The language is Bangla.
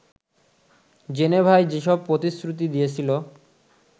জেনেভায় যেসব প্রতিশ্রুতি দিয়েছিল